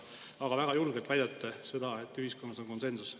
Aga väga julgelt väidate seda, et ühiskonnas on konsensus.